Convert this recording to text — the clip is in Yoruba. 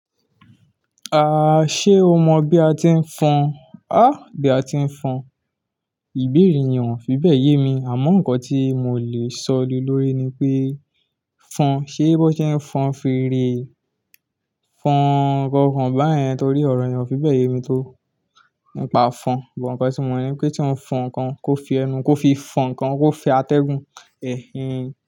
Ah! Ṣé o mọ bí a ti ń fọn? Ah! Bí a ti ń fọn, ìbéèrè nìwọ̀n fi bẹ́yẹ̀ mí, àmọ́ nǹkan tí mo lè sọ lóré ni pé fọn, ṣe bó ṣe ń fọn fèrè, fọn nǹkan kan bá yẹn torí ọ̀rọ̀ ni wọ́n fi bẹ̀ yé mi tó. N pa fọn, bọ̀n kàn tí mo ní pé tí wọ́n fọn ǹkan kó fi ẹnu, kó fi fọn ǹkan kó fi atẹ́gùn, ẹhn ehn.